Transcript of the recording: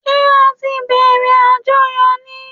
Ṣẹ́ á tí bẹ̀rẹ̀ àjọyọ̀ ni?